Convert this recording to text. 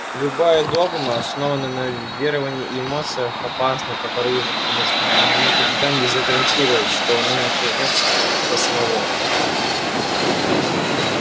любая догма основанная на веровании и эмоциях опасна как оружие потому что никогда нельзя гарантировать что оно не повернётся против тебя самого